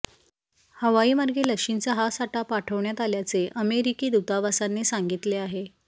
हवाईमार्गे लशींचा हा साठा पाठवण्यात आल्याचे अमेरिकी दूतावासाने सांगितले आहे